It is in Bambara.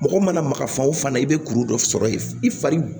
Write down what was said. Mɔgɔ mana maga fan wo fan i bɛ kuru dɔ sɔrɔ ye i fari